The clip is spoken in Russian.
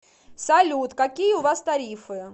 салют какие у вас тарифы